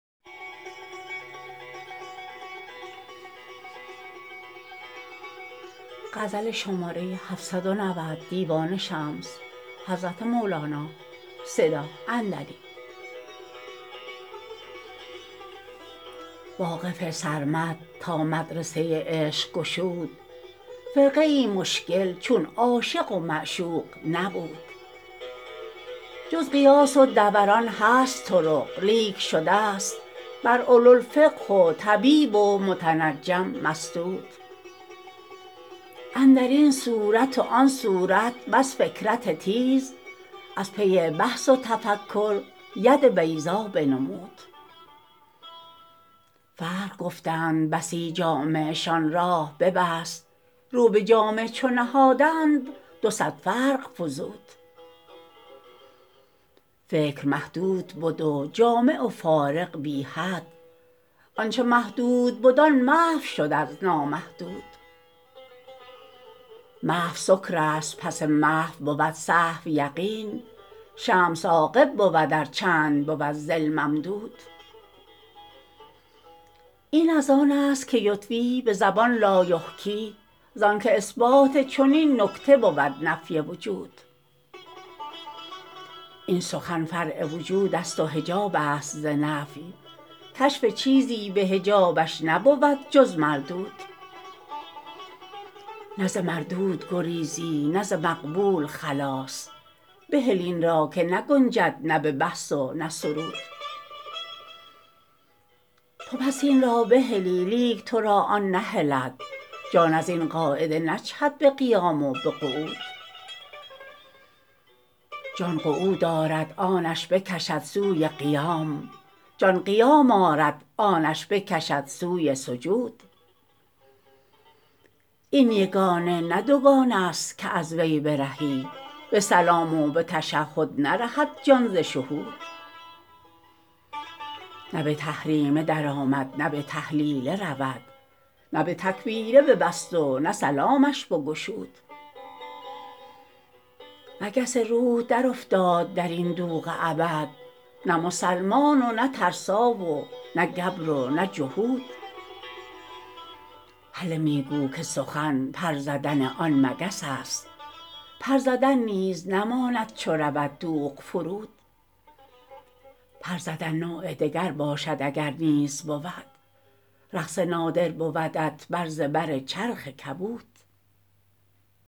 واقف سرمد تا مدرسه عشق گشود فرقیی مشکل چون عاشق و معشوق نبود جز قیاس و دوران هست طرق لیک شدست بر اولوالفقه و طبیب و متنجم مسدود اندر این صورت و آن صورت بس فکرت تیز از پی بحث و تفکر ید بیضا بنمود فرق گفتند بسی جامعشان راه ببست رو به جامع چو نهادند دو صد فرق فزود فکر محدود بد و جامع و فارق بی حد آنچ محدود بد آن محو شد از نامحدود محو سکرست پس محو بود صحو یقین شمس عاقب بود ار چند بود ظل ممدود این از آنست که یطوی به زبان لایحکی زانک اثبات چنین نکته بود نفی وجود این سخن فرع وجودست و حجابست ز نفی کشف چیزی به حجابش نبود جز مردود نه ز مردود گریزی نه ز مقبول خلاص بهل این را که نگنجد نه به بحث و نه سرود تو پس این را بهلی لیک تو را آن نهلد جان از این قاعده نجهد به قیام و به قعود جان قعود آرد آنش بکشد سوی قیام جان قیام آرد آنش بکشد سوی سجود این یگانه نه دوگانه ست که از وی برهی به سلام و به تشهد نرهد جان ز شهود نه به تحریمه درآمد نه به تحلیله رود نه به تکبیره ببست و نه سلامش بگشود مگس روح درافتاد در این دوغ ابد نه مسلمان و نه ترسا و نه گبر و نه جهود هله می گو که سخن پر زدن آن مگس است پر زدن نیز نماند چو رود دوغ فرود پر زدن نوع دگر باشد اگر نیز بود رقص نادر بودت بر زبر چرخ کبود